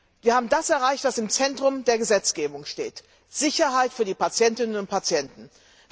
Wir haben erreicht, dass im Zentrum der Gesetzgebung die Sicherheit für die Patientinnen und Patienten steht.